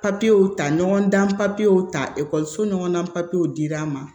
Papiyew ta ɲɔgɔndan papiyew ta ekɔliso ɲɔgɔnna dir'an ma